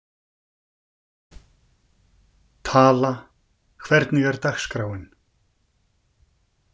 Tala, hvernig er dagskráin?